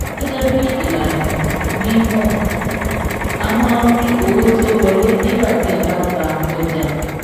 Gẹ́gẹ́ bí ìlànà mímọ̀, a máa rí owó tó wọlé nígbà tí a bá ta ọjà.